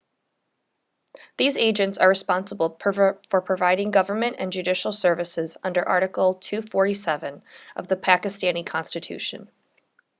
these agents are responsible for providing government and judicial services under article 247 of the pakistani constitution